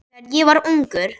Þegar ég var ungur.